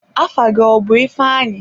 Afa gị ọ bụ ifeanyi?